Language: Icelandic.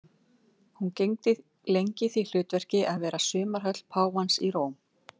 Hún gegndi lengi því hlutverki að vera sumarhöll páfans í Róm.